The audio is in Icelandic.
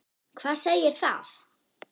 Hvað segir það?